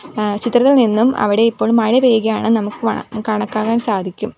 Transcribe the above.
ആ ചിത്രത്തിൽ നിന്നും അവിടെ ഇപ്പോൾ മഴപെയ്യുകയാണ് നമുക്ക് വ കണക്കാക്കാൻ സാധിക്കും.